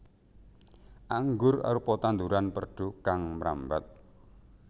Anggur arupa tanduran perdu kang mrambat